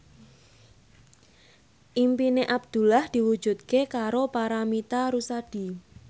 impine Abdullah diwujudke karo Paramitha Rusady